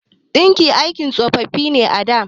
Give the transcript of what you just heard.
Ɗinki aikin tsofaffi ne a da.